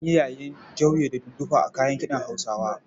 An yi yayin jauje da dundufa a kayan kiɗan Hausawa.